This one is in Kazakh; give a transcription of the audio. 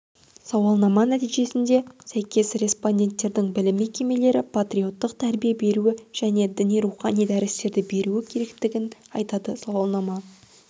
сауалнама нәтижесіне сәйкес респонденттердің білім мекемелері патриоттық тәрбие беруі және діни-рухани дәрістерді беруі керектігін айтады сауалнама